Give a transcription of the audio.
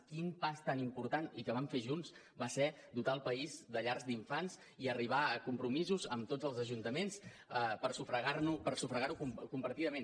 quin pas tan important i que vam fer junts va ser dotar el país de llars d’infants i arribar a compromisos amb tots els ajuntaments per sufragar ho compartidament